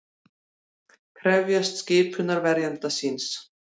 Krefst skipunar verjanda síns